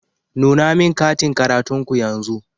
Nuna min katin karatun ku yanzu.